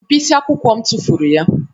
Mkpịsị akwụkwọ m tụfuru ya